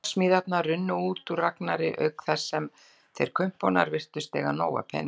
Hugarsmíðarnar runnu út úr Ragnari, auk þess sem þeir kumpánar virtust eiga nóg af peningum.